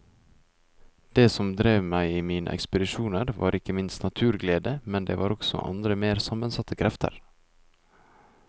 Det som drev meg i mine ekspedisjoner var ikke minst naturglede, men det var også andre mer sammensatte krefter.